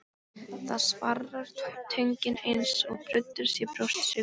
Það svarrar í tönginni eins og bruddur sé brjóstsykur.